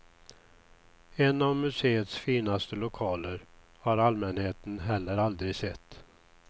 En av museets finaste lokaler har allmänheten heller aldrig sett.